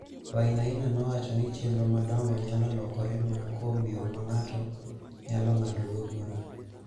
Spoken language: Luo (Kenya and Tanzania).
Wainaina nowacho ni chenro madongo nyalo lokore mana kuom yo ma ng�ato nyalo ng�adogo bura.